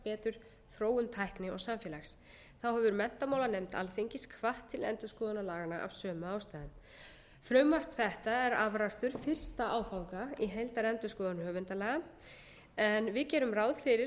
betur þróun tækni og samfélags þá hefur menntamálanefnd alþingis hvatt til endurskoðunar laganna af sömu ástæðu frumvarp þetta er afrakstur fyrsta áfanga í heildarendurskoðun höfundalaga en við gerum ráð fyrir